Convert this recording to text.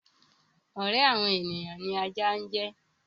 Ọ̀rẹ́ àwọn ènìyàn ni ajá jẹ́.